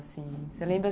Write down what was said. Você lembra?